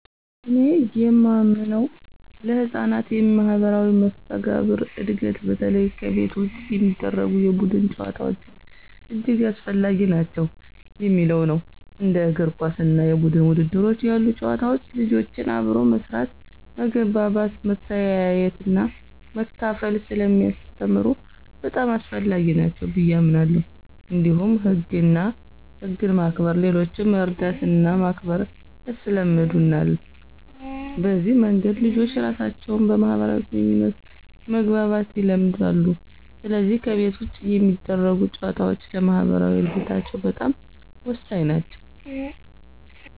እኔ የማምነው ለሕፃናት የማኅበራዊ መስተጋብር እድገት በተለይ ከቤት ውጭ የሚደረጉ የቡድን ጨዋታዎች እጅግ አስፈላጊ ናቸው የሚለው ነው። እንደ እግር ኳስ እና የቡድን ውድድሮች ያሉ ጨዋታዎች ልጆችን አብሮ መስራት፣ መግባባት፣ መተያየትና መካፈል ስለሚያስተምሩ በጣም አስፈላጊ ናቸው ብየ አምናለሁ። እንዲሁም ህግን ማክበር፣ ሌሎችን መርዳትና ማክበር ያስለምዳሉ። በዚህ መንገድ ልጆች ራሳቸውን በማህበራዊ ግንኙነት መግባባት ይለምዳሉ፣ ስለዚህ ከቤት ውጭ የሚደረጉ ጨዋታዎች ለማኅበራዊ እድገታቸው በጣም ወሳኝ ናቸው።